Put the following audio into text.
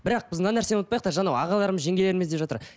бірақ біз мына нәрсені ұмытпайық та жаңа ағаларымыз жеңгелеріміз деп жатыр